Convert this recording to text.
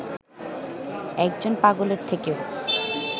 একজন পাগলের থেকেও